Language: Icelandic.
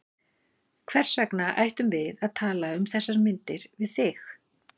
Hvers vegna ættum við að tala um þessar myndir við þig?